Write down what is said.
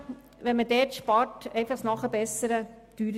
Spart man dort, wird das Nachbessern teurer.